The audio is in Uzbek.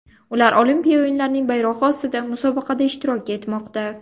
Ular olimpiya o‘yinlarining bayrog‘i ostida musobaqada ishtirok etmoqda.